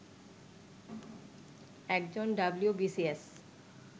একজন ডবলিউবিসিএস